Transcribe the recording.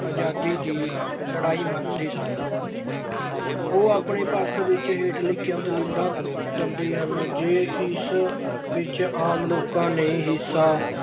ਆਜ਼ਾਦੀ ਦੀ ਲੜਾਈ ਮੰਨਦੇ ਸਨ। ਉਹ ਆਪਣੇ ਪੱਖ ਵਿੱਚ ਹੇਠ ਲਿਖੀਆਂ ਦਲੀਲਾਂ ਦਿੰਦੇ ਹਨ। ਜੇ ਇਸ ਵਿੱਚ ਆਮ ਲੋਕਾਂ ਨੇ ਹਿੱਸਾ